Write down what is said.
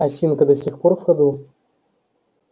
осинка до сих пор в ходу